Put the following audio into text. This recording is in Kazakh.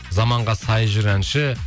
замаға сай жүр әнші